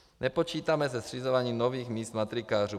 Nepočítáme se zřizováním nových míst matrikářů.